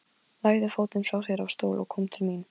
En það eru draugar í Apótekinu